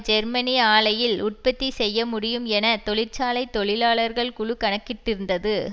Germany ஆலையில் உற்பத்தி செய்ய முடியும் என தொழிற்சாலை தொழிலாளர்கள் குழு கணக்கிட்டிருந்தது